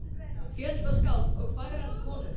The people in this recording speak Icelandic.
Fjöll og skáld og fagrar konur.